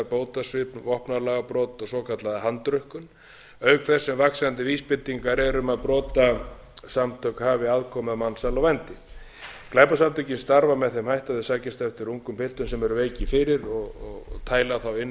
bótasvik vopnalagabrot og svokallaða handrukkun auk þess sem vaxandi vísbendingar eru um að brotasamtök hafi aðkomu að mansali og vændi glæpasamtökin starfa með þeim hætti að þau sækjast eftir ungum piltum sem eru veikir fyrir og tæla þá